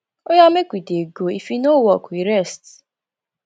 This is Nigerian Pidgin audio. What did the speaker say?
oya make we dey go if e no work we rest